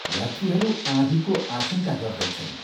यात्रीहरू आँधीको आशङ्का गर्दैछन्।